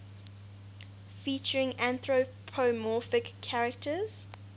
featuring anthropomorphic characters